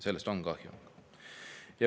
Sellest on kahju.